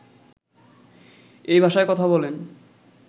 এই ভাষায় কথা বলেন